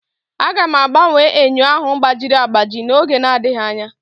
Aga m agbanwe enyo ahụ gbajiri agbaji n'oge adịghị anya